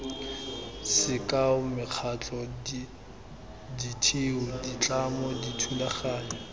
sekao mekgatlho ditheo ditlamo dithulaganyo